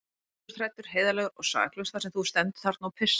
Þú ert hræddur, heiðarlegur og saklaus þar sem þú stendur þarna og pissar.